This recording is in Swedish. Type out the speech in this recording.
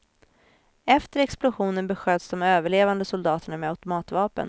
Efter explosionen besköts de överlevande soldaterna med automatvapen.